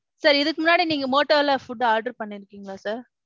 sir இதுக்கு முன்னாடி நீங்க motto ல food order பண்ணியிருக்கீங்களா sir?